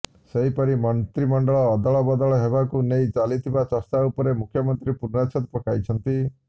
ସେହିପରି ମନ୍ତ୍ରୀମଣ୍ଡଳ ଅଦଳବଦଳ ହେବାକୁ ନେଇ ଚାଲିଥିବା ଚର୍ଚ୍ଚା ଉପରେ ମୁଖ୍ୟମନ୍ତ୍ରୀ ପୂର୍ଣ୍ଣେଚ୍ଛଦ ପକାଇଛନ୍ତି